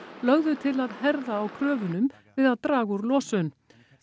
lögðu til að herða á kröfunum við að draga úr losun